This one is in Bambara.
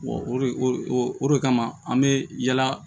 Wa o de o de kama an be yala